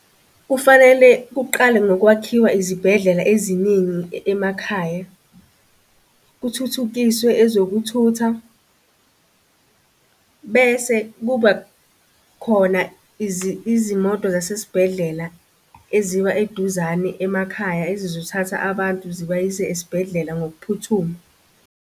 Kufanele kuqale ngokwakhiwa izibhedlela eziningi emakhaya. Kuthuthukiswe ezokuthutha bese kuba khona izimoto zasesibhedlela eziba eduzane emakhaya ezizothatha abantu zibayise esibhedlela ngokuphuthuma.